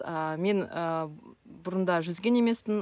ааа мен ы бұрында жүзген емеспін